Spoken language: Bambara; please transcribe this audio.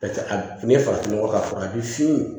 Ni ye farafin nɔgɔ k'a la fɔlɔ a bi fin